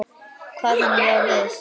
Kvað hann já við.